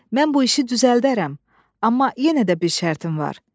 Mən bu işi düzəldərəm, amma yenə də bir şərtim var.